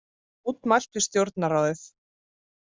Mótmælt við Stjórnarráðið